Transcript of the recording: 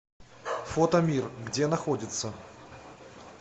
фотомир где находится